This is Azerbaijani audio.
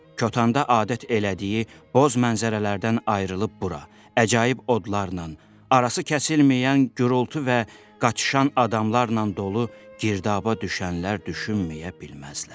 Kötənda adət elədiyi boz mənzərələrdən ayrılıb bura əcaib odlarla, arası kəsilməyən gurultu və qaçışan adamlarla dolu girdaba düşənlər düşünməyə bilməzlər.